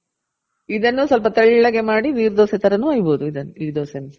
ಇದನ್ನು ಸ್ವಲ್ಪ ತೆಳ್ಳಗೆ ಮಾಡಿ ನೀರ್ ದೋಸೆ ತರನು ಹೊಯ್ ಬೋದು ಇದನ್ನು. ಈ ದೊಸೇನು ಸಹ ಪತ್ರೊಡೆ ಮಸಾಲ ಹಾಕಿದ್ದು